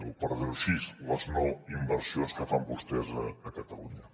o per dir ho així les no inversions que fan vostès a catalunya